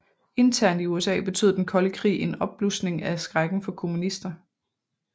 Internt i USA betød den kolde krig en opblusning af skrækken for kommunister